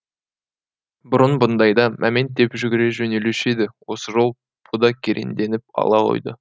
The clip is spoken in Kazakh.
бұрын бұндайда мәмент деп жүгіре жөнелуші еді осы жолы бұ да кереңденіп ала қойды